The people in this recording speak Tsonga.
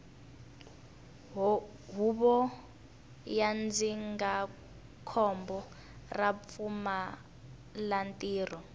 huvo ya ndzindzakhombo ra vupfumalantirho